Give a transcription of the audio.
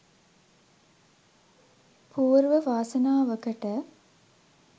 පූර්ව වාසනාවකට